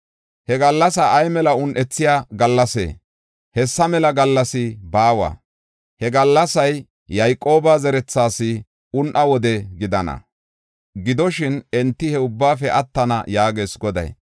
He gallasay ay mela un7ethiya gallasee? Hessa mela gallas baawa. He gallasay Yayqooba zerethaas un7a wode gidana. Gidoshin enti he ubbaafe attana” yaagees Goday.